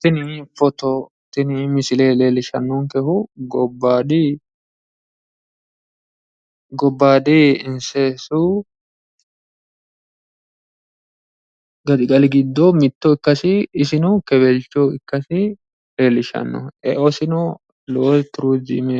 Tini foto tini misile leellishshannonkehu gobbayidi seesu gaxigali giddo ikkasi isino kewelcho ikkasi leellishshanno. Eosino lowo turiziime